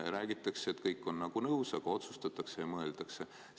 Räägitakse, et kõik on nagu nõus, aga otsustatakse ja mõeldakse.